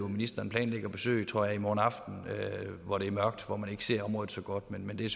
at ministeren planlægger at besøge jeg tror i morgen aften hvor det er mørkt og hvor man ikke ser området så godt men det